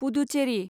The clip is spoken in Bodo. पुदुचेरि